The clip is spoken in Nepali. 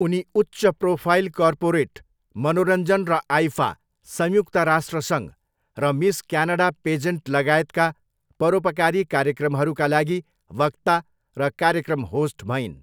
उनी उच्च प्रोफाइल कर्पोरेट, मनोरञ्जन र आइफा, संयुक्त राष्ट्र सङ्घ र मिस क्यानडा पेजेन्ट लगायतका परोपकारी कार्यक्रमहरूका लागि वक्ता र कार्यक्रम होस्ट भइन्।